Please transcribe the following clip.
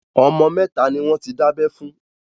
Ọmọ mẹ́ta ni wọn ti dábẹ́ fún.